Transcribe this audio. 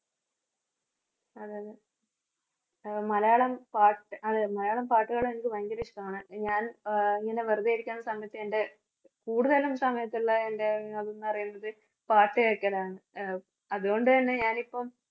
അതെയതെ ഹ് മലയാളം പാട്ട് അതെ മലയാളം പാട്ടുകള് എനിക്ക് ഭയങ്കര ഇഷ്ടമാണ്. ഞാന്‍ അഹ് ഇങ്ങനെ വെറുതെയിരിക്കുന്ന സമയത്ത് എൻറെ കൂടുതലും സമയത്തുള്ള എൻറെ ന്നുപറയുന്നത് പാട്ട് കേക്കലാണ്. അഹ് അതുകൊണ്ടുതന്നെ ഞാനിപ്പം